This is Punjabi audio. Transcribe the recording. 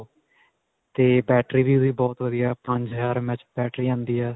ਤੇ battery ਵੀ ਓਹਦੀ ਬਹੁਤ ਵਧੀਆ ਪੰਜ ਹਜਾਰ MH battery ਆਉਂਦੀ ਹੈ.